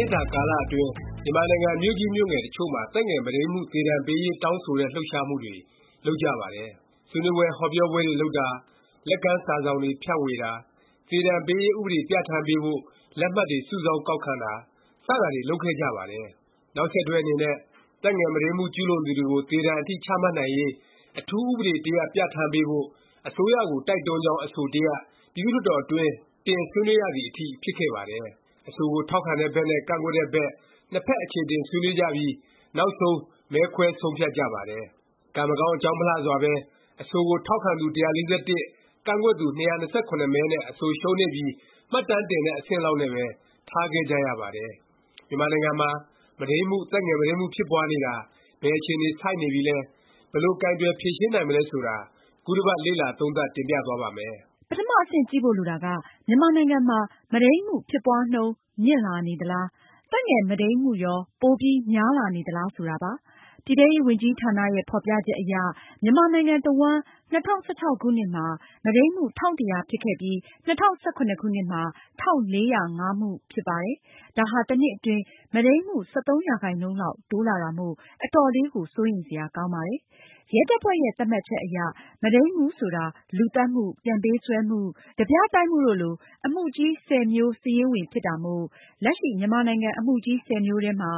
ှစ်တာကာလအတွင်း မြန်မာနိုင်ငံ မြို့ကြီးမြို့ငယ် တချို့မှာ သက်ငယ်မုဒိန်းမှု သေဒါဏ်ပေးရေး တောင်းဆိုတဲ့ လှုပ်ရှားမှုတွေ လုပ်ကြပါတယ်။ ဆွေးနွေးပွဲ၊ ဟောပြောပွဲတွေ လုပ်တာ၊ လက်ကမ်းစာစောင်တွေ ဖြန့်ဝေတာ၊ သေဒါဏ်ပေးရေး ဥပဒေ ပြဌာန်းပေးဖို့ လက်မှတ်တွေ စုဆောင်းကောက်ခံတာ စတာတွေ လုပ်ခဲ့ကြပါတယ်။ နောက်ဆက်တွဲ အနေနဲ့ သက်ငယ်မုဒိန်းမှု ကျူးလွန်သူတွေကို သေဒါဏ်အထိ ချမှတ်နိုင်ရေး အထူးဥပဒေ တရပ် ပြဌာန်းပေးဖို့ အစိုးရကို တိုက်တွန်းကြောင်း အဆို တရပ် ပြည်သူ့လွှတ်တော်တွင်း တင် ဆွေးနွေးရသည်အထိ ဖြစ်ခဲ့ပါတယ်။ အဆိုကို ထောက်ခံတဲ့ဘက်နဲ့ ကန့်ကွက်တဲ့ဘက် နှစ်ဖက် အခြေအတင် ဆွေးနွေးကြပြီး နောက်ဆုံး မဲခွဲဆုံးဖြတ်ကြပါတယ်။ကံမကောင်း အကြောင်းမလှစွာပဲ အဆိုကို ထောက်ခံသူ ၁၄၁၊ ကန့်ကွက်သူ ၂၂၇ မဲနဲ့ အဆိုရှုံးနိမ့်ပြီး မှတ်တမ်းတင်တဲ့ အဆင့်လောက်နဲ့ပဲ ထားခဲ့ကြရပါတယ်။ မြန်မာနိုင်ငံမှာ မုဒိန်းမှု၊ သက်ငယ်မုဒိန်းမှု ဖြစ်ပွားနေတာ ဘယ်အခြေအနေ ဆိုက်နေပြီလဲ၊ ဘယ်လို ကိုင်တွယ်ဖြေရှင်းနိုင်မလဲ ဆိုတာ ခုတစ်ပတ် လေ့လာ သုံးသပ် တင်ပြသွားပါ့မယ်။ ပထမအဆင့် ကြည့်ဖို့ လိုတာက မြန်မာနိုင်ငံမှာ မုဒိန်းမှု ဖြစ်ပွားနှုန်း မြင့်လာနေသလား၊ သက်ငယ်မုဒိန်းမှုရော ပိုပြီး များလာနေသလား ဆိုတာပါ။ ပြည်ထဲရေးဝန်ကြီးဌာနရဲ့ ဖော်ပြချက်အရ မြန်မာနိုင်ငံ တဝှမ်း ၂၀၁၆ ခုနှစ်မှာ မုဒိန်းမှု ၁၁၀၀ ဖြစ်ခဲ့ပြီး ၂၀၁၇ ခုနှစ်မှာ ၁၄၀၅ မှုဖြစ်ပါတယ်။ ဒါဟာ တနှစ် အတွင်း မုဒိန်းမှု ၁၃ ရာခိုင်နှုန်းလောက် တိုးလာတာမို့ အတော်လေးကို စိုးရိမ်စရာ ကောင်းပါတယ်။ ရဲတပ်ဖွဲ့ရဲ့ သတ်မှတ်ချက်အရ မုဒိန်းမှု ဆိုတာ လူသတ်မှု၊ ပြန်ပေးဆွဲမှု၊ ဓားပြမှုတို့လို အမှုကြီး ၁၀ မျိုး စာရင်းဝင် ဖြစ်တာမို့ လက်ရှိ မြန်မာနိုင်ငံ အမှုကြီး ၁၀ မျိုးထဲမှာ